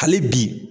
Hali bi